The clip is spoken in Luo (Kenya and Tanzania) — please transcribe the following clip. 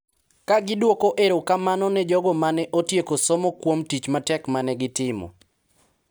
Ka gidwoko erokamano ne jogo ma ne otieko somo kuom tich matek ma ne gitimo,